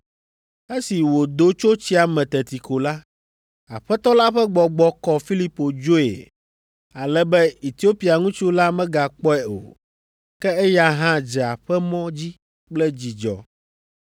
Esi wòdo tso tsia me teti ko la, Aƒetɔ la ƒe Gbɔgbɔ kɔ Filipo dzoe, ale be Etiopia ŋutsu la megakpɔe o, ke eya hã dze aƒemɔ dzi kple dzidzɔ.